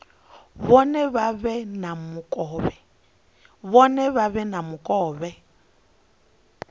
vhone vha vhe na mukovhe